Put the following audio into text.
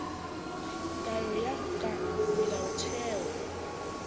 tayo ho ya ka melaotheo